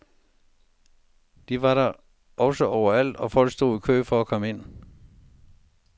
De var da også overalt, og folk stod i kø for at komme ind.